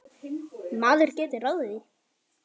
Maður getur ráðið því.